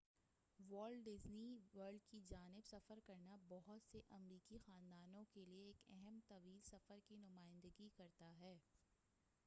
wallet Disney World کی جانب سفر کرنا بہت سے امریکی خاندانوں کے لیے ایک اہم طویل سفر کی نمائندگی کرتا ہے